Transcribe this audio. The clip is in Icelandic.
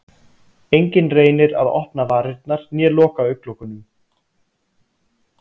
Enginn reynir að opna varirnar né loka augnlokunum.